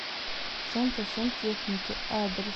центр сантехники адрес